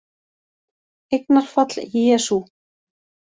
Eignarfall: Jesú